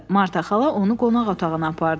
Marta xala onu qonaq otağına apardı.